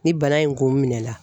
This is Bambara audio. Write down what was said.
Ni bana in kun minɛla.